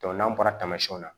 n'an bɔra tamasiyɛnw la